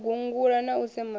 u gungula na u semana